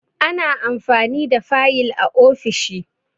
Ana amfani da fayil a ofishi